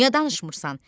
Niyə danışmırsan?